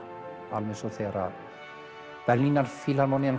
alveg eins og þegar